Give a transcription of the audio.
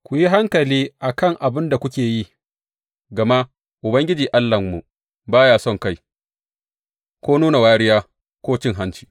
Ku yi hankali a kan abin da kuke yi, gama Ubangiji Allahnmu ba ya sonkai ko nuna wariya ko cin hanci.